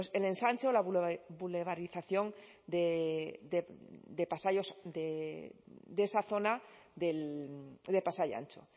el ensanche o la boulevarización de esa zona de pasai antxo